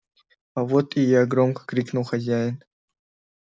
а вот и я громко крикнул хозяин